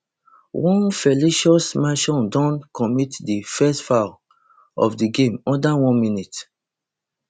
onefelicio milson don commit di first foul of di game under one minute